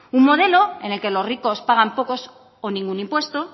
un modelo en el que los ricos pagan pocos o ningún impuesto